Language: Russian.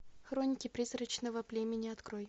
хроники призрачного племени открой